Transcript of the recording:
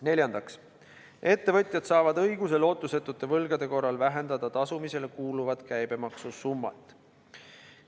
Neljandaks, ettevõtjad saavad õiguse lootusetute võlgade korral vähendada tasumisele kuuluvat käibemaksusummat.